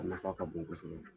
Nafa ka bon ka bon kosɛbɛ.